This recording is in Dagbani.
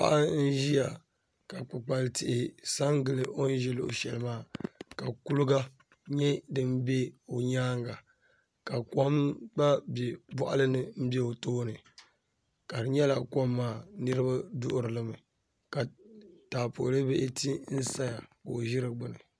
paɣa n-ʒiya ka kpikpali tihi sa n-gili o ni ʒi luɣishɛli maa ka kuliga nyɛ din be o nyaaŋa ka kom gba be bɔɣili ni m-be o tooni ka di nyɛla kom maa niriba duɣiri li mi ka taapooli lee ti n-saya ka o ʒi di gbuni